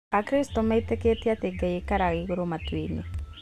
Akristo metĩkĩtie atĩ Ngai aikaraga igũrũ matuinĩ